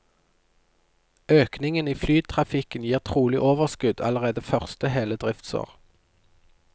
Økningen i flytrafikken gir trolig overskudd allerede første hele driftsår.